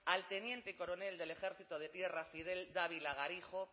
al teniente coronel del ejército de tierra fidel dávila garijo